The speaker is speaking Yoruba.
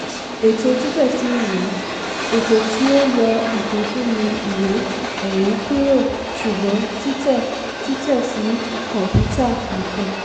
ètò títẹsí ìwé - ètò tí ó yọ ìpínfunni ìwé-ẹ̀rí kúrò ṣùgbọ́n títẹ títẹ sí kọ̀ǹpútà nìkan.